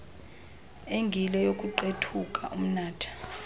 engile youkuqethuka umnatha